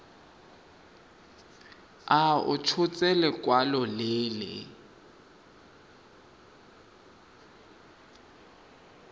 a tshotse lekwalo le le